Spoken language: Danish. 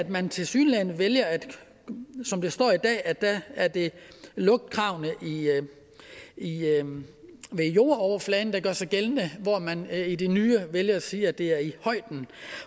man tilsyneladende vælger som det står i dag at at det er lugtkravene ved jordoverfladen der gør sig gældende hvor man i det nye vælger at sige at det er i